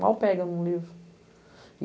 Mal pega em um livro. E